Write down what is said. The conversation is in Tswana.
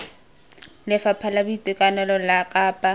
lefapha la boitekanelo la kapa